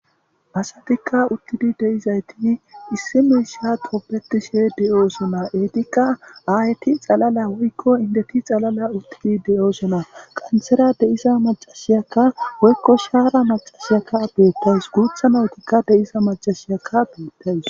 Asatika utidi deizayiti issi miishsha tobetishe deosona hagetika ayeti xala woyikko indeti xalala utidi deosona qanterayi deiya macasiyaka woyikko shara macasiyaka betawus guta nayitika deiza macasiyaka betawusi.